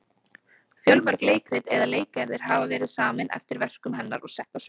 Fjölmörg leikrit eða leikgerðir hafa verið samin eftir verkum hennar og sett á svið.